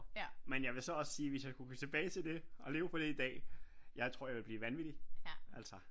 Men jeg vil så også sige hvis jeg kunne gå tilbage til det og leve på det i dag jeg tror jeg ville blive vanvittig altså